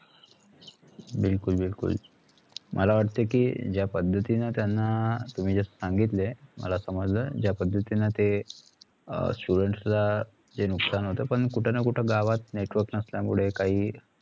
बिलकुल बिलकुल मला वाटतकी जा पद्धतींनी त्याना तुमी जे सांगितले मला समजलं जा पद्धतींनी ते students ला जे नुकसान होत पण कुठेना कुठ गावात network नसल्या मुळ काही